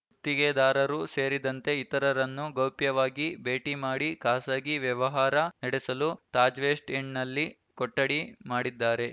ಗುತ್ತಿಗೆದಾರರು ಸೇರಿದಂತೆ ಇತರರನ್ನು ಗೌಪ್ಯವಾಗಿ ಭೇಟಿ ಮಾಡಿ ಖಾಸಗಿ ವ್ಯವಹಾರ ನಡೆಸಲು ತಾಜ್‌ವೆಸ್ಟ್‌ ಎಂಡ್‌ನಲ್ಲಿ ಕೊಠಡಿ ಮಾಡಿದ್ದಾರೆ